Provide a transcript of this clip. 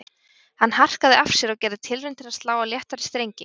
Hann harkaði af sér og gerði tilraun til að slá á léttari strengi